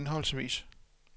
henholdsvis